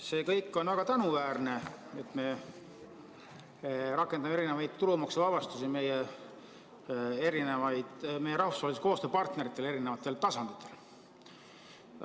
See kõik on väga tänuväärne, et me rakendame erinevaid tulumaksuvabastusi meie rahvusvahelistele koostööpartneritele eri tasanditel.